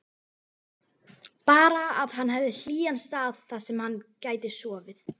Bara að hann hefði hlýjan stað þarsem hann gæti sofið.